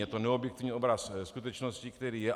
Je to neobjektivní obraz skutečnosti, který je.